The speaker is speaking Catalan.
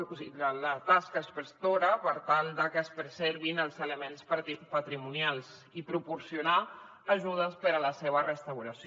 o sigui la tasca inspectora per tal de que es preservin els elements patrimonials i proporcionar ajudes per a la seva restauració